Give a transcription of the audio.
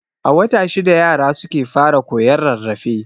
A wata shida yara suke fara koyon rarrafe.